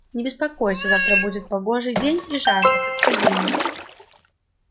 не беспокойся завтра будет погожий день и жарко как в июне